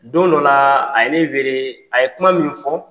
Don dɔ la a ye ne wele a ye kuma minun fɔ